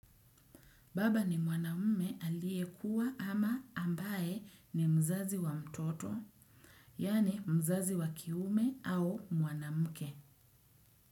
Baba ni mwanamme aliyekuwa ama ambaye ni mzazi wa mtoto, yaani mzazi wa kiume au mwanamke.